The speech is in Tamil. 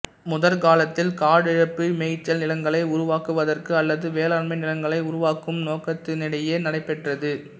முற்காலத்தில் காடழிப்பு மேய்ச்சல் நிலங்களை உருவாக்குவதற்கு அல்லது வேளாண்மை நிலங்களை உருவாக்கும் நோக்கத்துடனேயே நடைபெற்றது